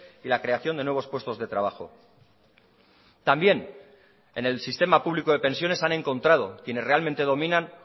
y la creación de nuevos puestos de trabajo también en el sistema público de pensiones han encontrado quienes realmente dominan